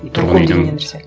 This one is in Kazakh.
домком деген не нәрсе